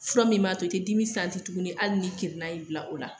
Fura min b'a to i te dimi tuguni hali ni kirinan y'i bila o la.